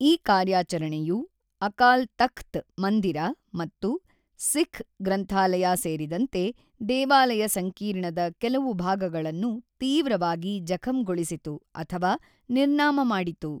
ಈ ಕಾರ್ಯಾಚರಣೆಯು ಅಕಾಲ್ ತಖ್ತ್ ಮಂದಿರ ಮತ್ತು ಸಿಖ್ ಗ್ರಂಥಾಲಯ ಸೇರಿದಂತೆ ದೇವಾಲಯ ಸಂಕೀರ್ಣದ ಕೆಲವು ಭಾಗಗಳನ್ನು ತೀವ್ರವಾಗಿ ಜಖಂಗೊಳಿಸಿತು ಅಥವಾ ನಿರ್ನಾಮ ಮಾಡಿತು.